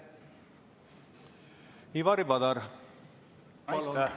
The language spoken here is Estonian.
Ivari Padar, palun!